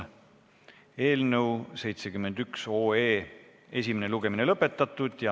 Eelnõu 71 esimene lugemine on lõpetatud.